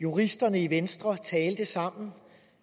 juristerne i venstre talte sammen